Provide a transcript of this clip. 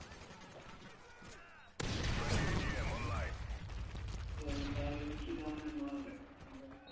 তো তাহলে ওই কি ধরনের মাল রাখে মোটামোটি?